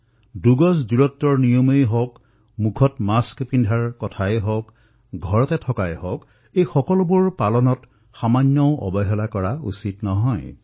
দুই গজৰ দূৰত্বৰ নিয়মেই হওক মুখত মাস্ক লগোৱা নিয়মেই হওক পাৰিলে ঘৰতে থকা এই সকলোবোৰ কথাৰ পালন ইয়াত সামান্যতমো হীনডেঢ়ি হোৱাটো আৱশ্যক নহয়